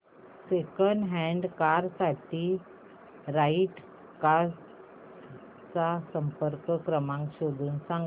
second hand car साठी right cars चा संपर्क क्रमांक शोधून सांग